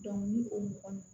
ni o mɔgɔn